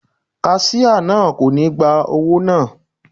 Kaṣíá náà kò ní gba owó náà..